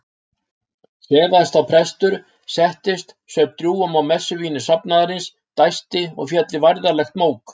Sefaðist þá prestur, settist, saup drjúgum á messuvíni safnaðarins, dæsti og féll í værðarlegt mók.